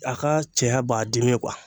A ka cɛya b'a dimi kuwa